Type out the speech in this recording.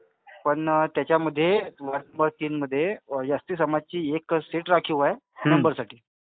पण त्याच्यामध्ये, ward number तीनमध्ये is not Clear समाजाची एक सीट राखीव आहे is not Clear साठी.